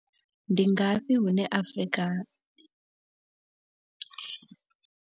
Ndi ngafhi hune Afrika.